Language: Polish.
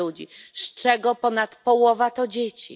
ludzi, z czego ponad połowa to dzieci.